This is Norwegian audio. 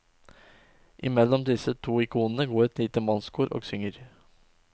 I mellom disse to ikonene går et lite mannskor og synger.